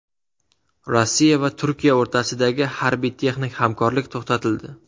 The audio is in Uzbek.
Rossiya va Turkiya o‘rtasidagi harbiy-texnik hamkorlik to‘xtatildi.